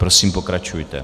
Prosím, pokračujte.